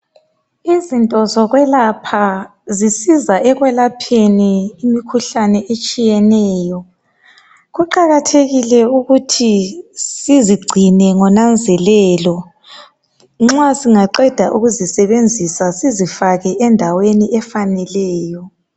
Izinto zokwelapha zisiza ekwelapheni imikhuhlane etshiyeneyo kuqakathekile ukuthi sizigcine ngonanzelelo nxa singaqeda ukuzisebenzisa sizifake endaweni efaneleyo.